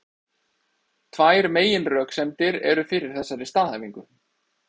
Tvær meginröksemdir eru fyrir þessari staðhæfingu.